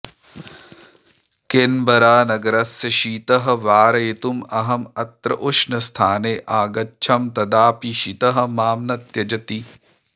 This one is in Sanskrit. केन्बरानगरस्य शीतः वारयितुम् अहम् अत्र उष्णस्थाने आगच्छं तदापि शीतः मां न त्यजति